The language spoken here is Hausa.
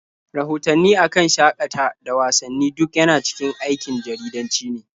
Rahotanni a kan shaƙata da wasanni duk yana cikin aikin jaridanci ne.